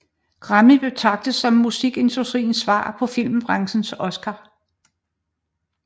Grammy betragtes som musikindustriens svar på filmbranchens Oscar